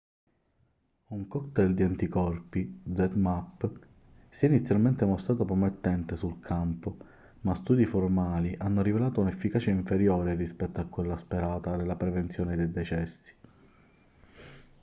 un cocktail di anticorpi zmapp si è inizialmente mostrato promettente sul campo ma studi formali hanno rivelato un'efficacia inferiore rispetto a quella sperata nella prevenzione dei decessi